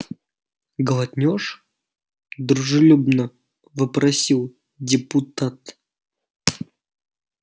глотнёшь дружелюбно вопросил депутат